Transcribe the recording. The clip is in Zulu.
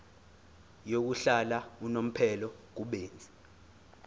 yokuhlala unomphela kubenzi